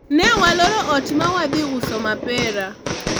ne waloro ot ma wadhi uso mapera